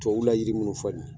Tubabuw la yiri munnu filɛ nin ye